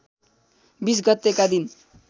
२० गतेका दिन